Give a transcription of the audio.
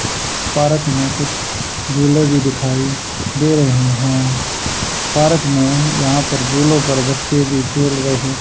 park में कुछ झूले भी दिखाई दे रहे हैं पार्क में यहां पर झूलों पर बच्चे भी खेल रहे--